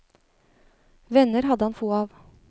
Venner hadde han få av.